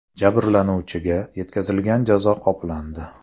Jabrlanuvchiga yetkazilgan jazo qoplandi.